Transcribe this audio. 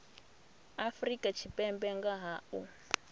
afrika tshipembe nga ha u